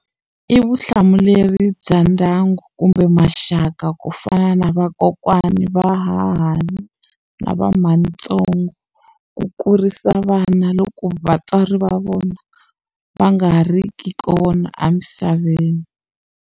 I vutihlamuleri bya ndyangu kumbe maxaka ku fana na vakokwana vahahani na va matsongo ku kurisa vana loko vatswari va vona va nga ha ri ki kona emisaveni.